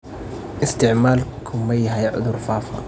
Isticmaalku ma yahay cudur faafa?